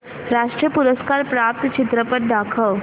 राष्ट्रीय पुरस्कार प्राप्त चित्रपट दाखव